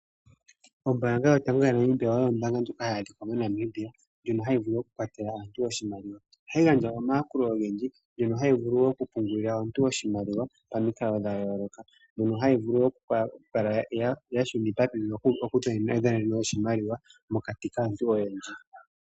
Ombaanga yotango yopashigwana oyo ombaanga ndjono hayi vulu oku kwathela aantu oshimaliwa. Ohayi gandja wo omayakulo ogendji, ohayi vulu oku pungulila omuntu oshimaliwa pamikalo dha yooloka.